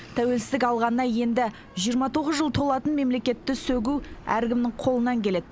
тәуелсіздік алғанына енді жиырма тоғыз жыл толатын мемлекетті сөгу әркімнің қолынан келеді